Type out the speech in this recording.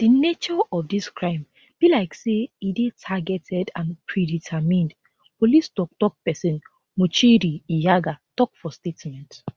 di nature of dis crime be like say e dey targeted and predetermined police toktok pesin muchiri nyaga tok for statement